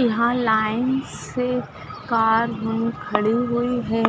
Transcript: यहा लाइन से कार खड़ी हुई है